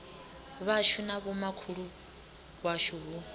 vhashu na vhomakhulu washu hu